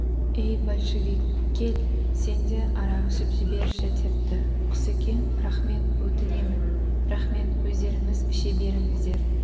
ей большевик кел сен де арақ ішіп жіберші депті құсекең рақмет өтінемін рахмет өздеріңіз іше беріңіздер